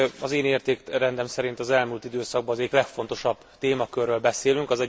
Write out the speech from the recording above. Az én értékrendem szerint az elmúlt időszak egyik legfontosabb témaköréről beszélünk.